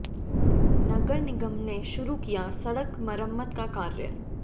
नगर निगम ने शुरू किया सड़क मरम्मत का कार्य